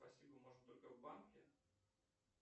спасибо можно только в банке